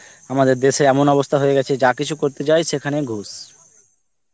আমাদের দেশে এমন অবস্থা হয়ে গেছে যা কিছু করতে চাই সেখানেই ঘুষ